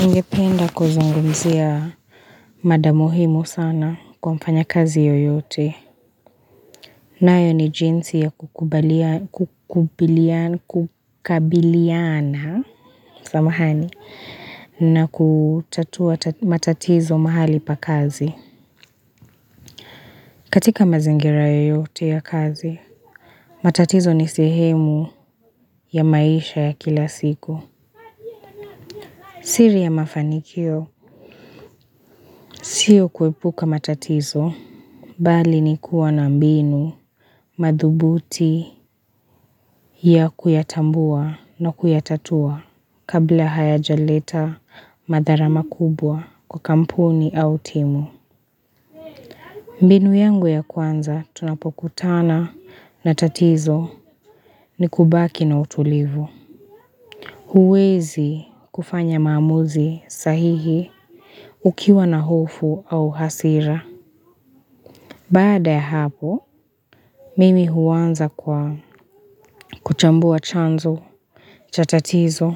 Ningependa kuzungumzia mada muhimu sana kwa mfanyakazi yoyote. Nayo ni jinsi ya kukabiliana samahani na kutatua matatizo mahali pa kazi. Katika mazingira yoyote ya kazi, matatizo ni sehemu ya maisha ya kila siku. Siri ya mafanikio, sio kuepuka matatizo, bali ni kuwa na mbinu madhubuti ya kuyatambua na kuyatatua kabla hayajaleta madhara makubwa kwa kampuni au timu. Mbinu yangu ya kwanza tunapokutana na tatizo ni kubaki na utulivu. Huwezi kufanya maamuzi sahihi ukiwa na hofu au hasira. Baada ya hapo, mimi huanza kwa kuchambua chanzo cha tatizo.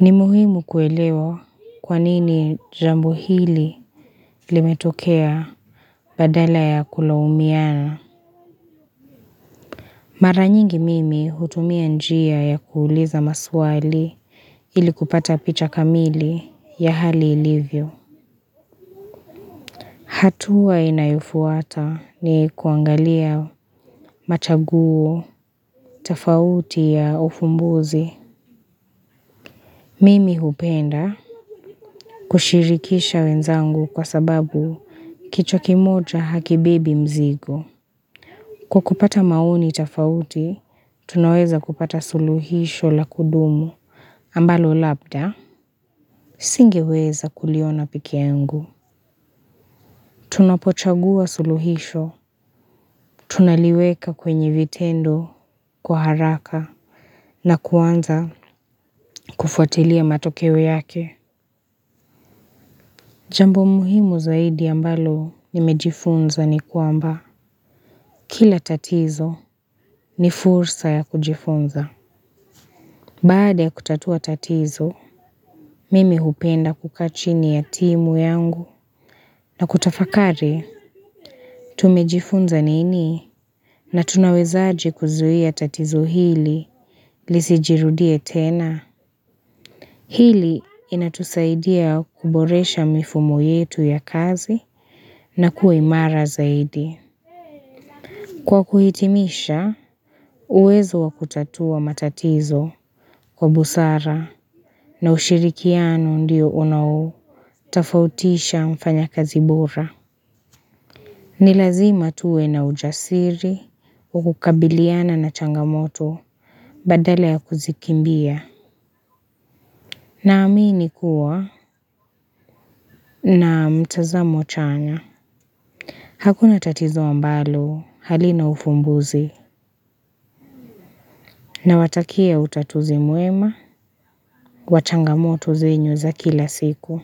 Ni muhimu kuelewa kwa nini jambo hili limetokea badala ya kulaumiana. Mara nyingi mimi hutumia njia ya kuuliza maswali ili kupata picha kamili ya hali ilivyo. Hatua inayufuata ni kuangalia machaguo, tafauti ya ufumbuzi. Mimi hupenda kushirikisha wenzangu kwa sababu kichwa kimoja hakibebi mzigo. Kwa kupata maoni tafauti, tunaweza kupata suluhisho la kudumu ambalo labda. Singeweza kuliona peke yangu. Tunapochagua suluhisho, tunaliweka kwenye vitendo, kwa haraka na kuanza kufuatilia matokeo yake Jambo muhimu zaidi ambalo nimejifunza ni kwamba Kila tatizo ni fursa ya kujifunza Baada ya kutatua tatizo, mimi hupenda kukaa chini ya timu yangu na kutafakari, tumejifunza nini na tunawezaje kuzuia tatizo hili lisijirudie tena. Hili inatusaidia kuboresha mifumo yetu ya kazi na kuwe imara zaidi. Kwa kuhitimisha, uwezo wa kutatua matatizo kwa busara na ushirikiano ndiyo unao tafautisha mfanya kazi bora. Ni lazima tuwe na ujasiri, wa kukabiliana na changamoto Badala ya kuzikimbia Naamini kuwa na mtazamo chanya Hakuna tatizo ambalo halina ufumbuzi na watakia utatuzi muema wa changamoto zenyu za kila siku.